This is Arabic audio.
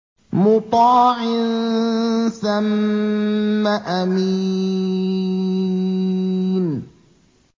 مُّطَاعٍ ثَمَّ أَمِينٍ